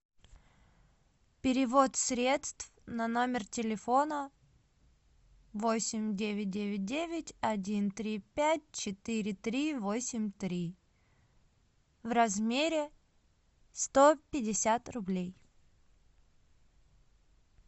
перевод средств на номер телефона восемь девять девять девять один три пять четыре три восемь три в размере сто пятьдесят рублей